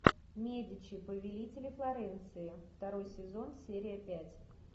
медичи повелители флоренции второй сезон серия пять